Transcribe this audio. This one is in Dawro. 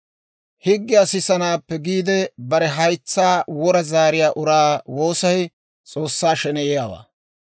Higgiyaa sisanaappe giide, bare haytsaa wora zaariyaa uraa woosay S'oossaa sheneyiyaawaa.